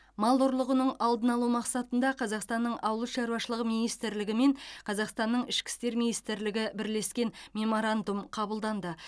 мал ұрлығының алдын алу мақсатында қазақстанның ауыл шаруашылығы министрлігі мен қазақстанның ішкі істер министрлігі бірлескен меморандум қабылданды